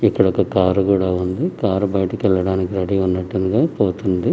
ఇంగ కారు కూడా ఉంది. కారు బయటకు వెళ్లడానికి రెడీ అన్నట్టుగా పోతుంది ఇందులో.